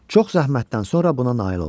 Çox zəhmətdən sonra buna nail oldu.